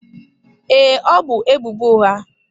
Ee, ọ bu ebubo ụgha.